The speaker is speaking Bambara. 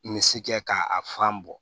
Misi kɛ k'a fan bɔ